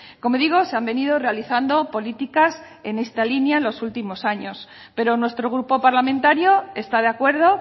como digo se han venido realizando políticas en esta línea en los últimos años pero nuestro grupo parlamentario está de acuerdo